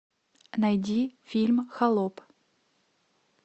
найди фильм холоп